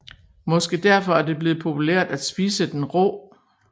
Måske derfor er det blevet populært at spise den rå